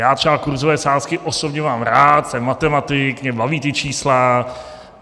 Já třeba kurzové sázky osobně mám rád, jsem matematik, mě baví ta čísla.